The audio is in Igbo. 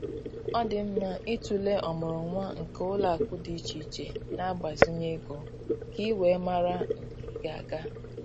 Ọ dị mma ịtụlee ọmụrụnwa nke ụlọakụ dị iche iche na-agbazinye ego ka ị wee mara nke ị ga-aga